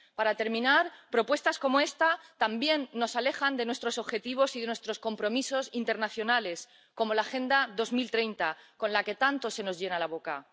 Para terminar, propuestas como esta también nos alejan de nuestros objetivos y de nuestros compromisos internacionales, como la Agenda 2030, con la que tanto se nos llena la boca.